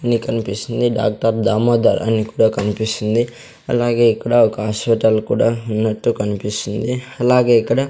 నీకు అనిపిస్తుంది డాక్టర్ దామోదర్ అని కూడా కనిపిస్తుంది అలాగే ఇక్కడ ఒక హాస్పెటల్ కూడా ఉన్నట్టు కనిపిస్తుంది అలాగే ఇక్కడ.